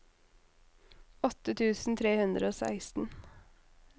åtte tusen tre hundre og seksten